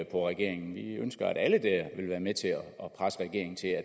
på regeringen vi ønsker at alle vil være med til at presse regeringen til at